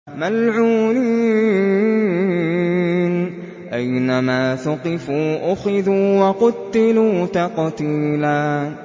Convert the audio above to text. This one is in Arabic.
مَّلْعُونِينَ ۖ أَيْنَمَا ثُقِفُوا أُخِذُوا وَقُتِّلُوا تَقْتِيلًا